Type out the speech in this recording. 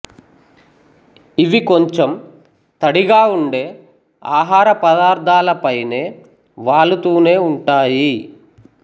ఇవి కొంచెం తడిగా ఉండే ఆహార పదార్థాలపైనే వాలుతూనే ఉంటాయి